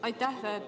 Aitäh!